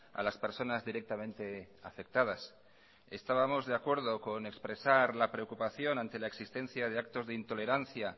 a las personas directamente afectadas estábamos de acuerdo con expresar la preocupación ante la existencia de actos de intolerancia